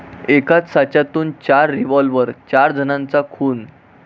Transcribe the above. एकाच साच्यातून चार रिव्हॉल्वर?, चार जणांचा खून